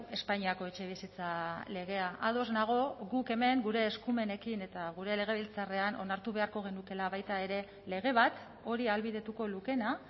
espainiako etxebizitza legea ados nago guk hemen gure eskumenekin eta gure legebiltzarrean onartu beharko genukeela baita ere lege bat hori ahalbidetuko lukeena